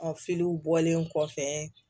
bɔlen kɔfɛ